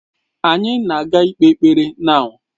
Anyị na ga ikpe ekpere now.